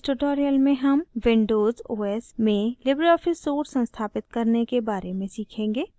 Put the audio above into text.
इस tutorial में हम windows os में libreoffice suite संस्थापित करने के बारे में सीखेंगे